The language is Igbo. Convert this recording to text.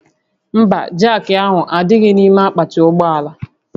Mba, jaakị ahụ adịghị n'ime akpati ụgbọ ala